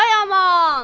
"Ay aman!